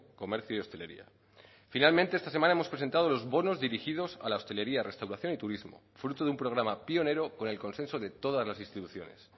comercio y hostelería finalmente esta semana hemos presentado los bonos dirigidos a la hostelería restauración y turismo fruto de un programa pionero con el consenso de todas las instituciones